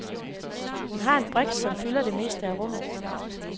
Hun har en briks, som fylder det meste af rummet.